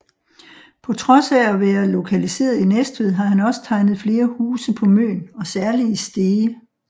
På trods af at være lokaliseret i Næstved har han også tegnet flere huse på Møn og særligt i Stege